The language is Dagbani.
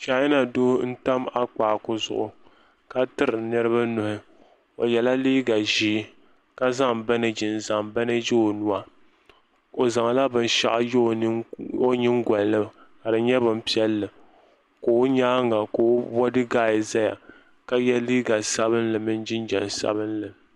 chaana doo n tam akpaaku zuɣu ka tiri niraba nuhi o yɛla liiga ʒiɛ ka zaŋ banɛji n zaŋ banɛji o nuwa o zaŋla binshaɣu yɛ o nyingoli ni ka di nyɛ bin piɛlli ka o nyaanga ka o bodi gaad ʒɛya ka yɛ liiga sabinli mini jinjɛm sabinli